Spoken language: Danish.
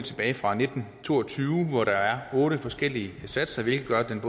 tilbage fra nitten to og tyve hvor der er otte forskellige satser hvilket gør at den